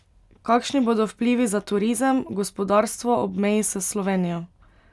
Kakšni bodo vplivi za turizem, gospodarstvo ob meji s Slovenijo?